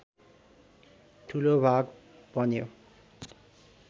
ठूलो भाग बन्यो